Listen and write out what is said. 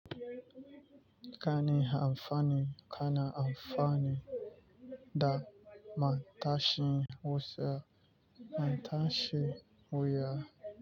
Kana amfani, kana amfani da matashin wuya.